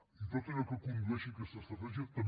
i en tot allò que condueixi a aquesta estratègia també